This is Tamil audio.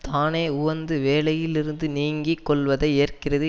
தானே உவந்து வேலையில் இருந்து நீங்கி கொள்வதை ஏற்கிறது